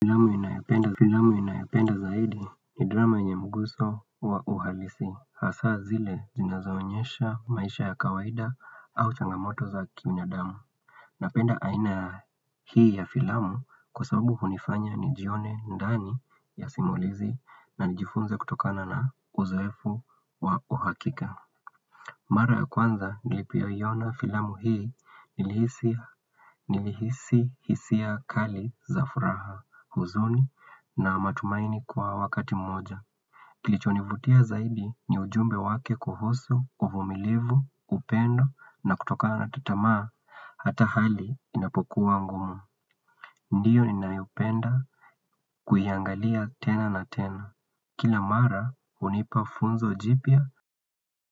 Filamu ninayopenda zaidi ni drama yenye mguso wa uhalisi. Hasa zile jina zaonyesha maisha ya kawaida au changamoto za kiminadamu. Napenda aina hii ya filamu kwa sababu hunifanya ni jione ndani ya simulizi na nijifunze kutokana na uzoefu wa uhakika. Mara ya kwanza nilipoiona filamu hii nilihisi hisia kali za furaha huzuni na matumaini kwa wakati mmoja. Kilichonivutia zaidi ni ujumbe wake kuhusu, uvumilivu, upendo na kutoka na tatamaa hata hali inapokuwa ngumu. Ndiyo ni naiupenda kuiangalia tena na tena. Kila mara unipa funzo jipya.